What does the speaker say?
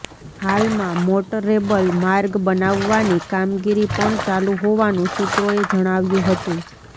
હાલમાં મોટરેબલ માર્ગ બનાવવાની કામગીરી પણ ચાલું હોવાનું સૂત્રોએ જણાવ્યું હતું